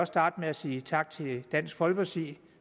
starte med at sige tak til dansk folkepartis